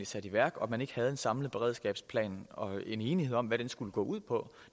sat i værk og at man ikke havde en samlet beredskabsplan og en enighed om hvad den skulle gå ud på